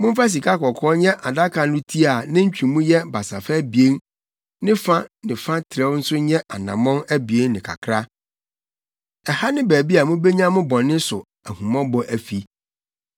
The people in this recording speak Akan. “Momfa sikakɔkɔɔ nyɛ adaka no ti a ne ntwemu yɛ basafa abien ne fa na ne trɛw nso yɛ anammɔn abien ne kakra. Ɛha ne baabi a mubenya mo bɔne so ahummɔbɔ afi.